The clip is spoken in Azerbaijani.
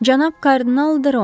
Cənab kardinal Droan.